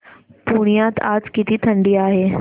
पुण्यात आज किती थंडी आहे